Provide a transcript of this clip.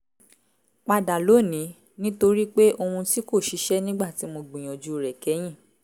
padà lónìí nítorí pé ohun tí kò ṣiṣẹ́ nígbà tí mo gbìyànjú rẹ̀ kẹ́yìn